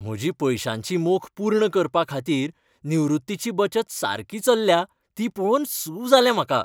म्हजी पयशांची मोख पूर्ण करपा खातीर निवृत्तीची बचत सारकी चल्ल्या ती पळोवन सू जालें म्हाका.